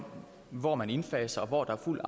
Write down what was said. hvor man indfaser og hvor der er fuld